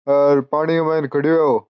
और पानी मायने खड़यो है ओ।